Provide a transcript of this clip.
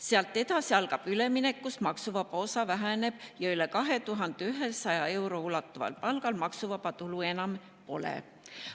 Sealt edasi algab üleminek, kus maksuvaba osa väheneb, ja üle 2100 euro ulatuval palgal maksuvaba tulu enam pole.